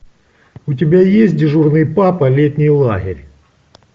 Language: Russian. у тебя есть дежурный папа летний лагерь